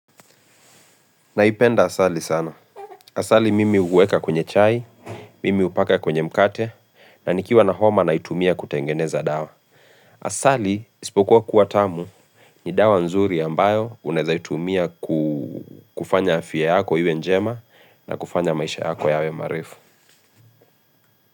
Naipenda asali sana. Asali mimi huweka kwenye chai, mimi hupaka kwenye mkate, na nikiwa na homa na itumia kutengeneza dawa. Asali isipokuwa kuwa tamu ni dawa nzuri ambayo unawezaitumia kufanya afya yako iwe njema na kufanya maisha yako yawe marefu.